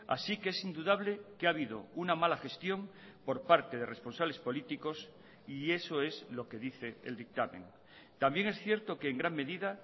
así que es indudable que ha habido una mala gestión por parte de responsables políticos y eso es lo que dice el dictamen también es cierto que en gran medida